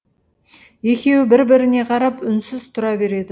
екеуі бір біріне қарап үнсіз тұра береді